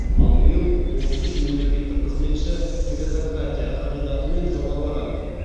ал биыл отыз үш мемлекеттік қызметші меритократия қағидатымен жоғарылаған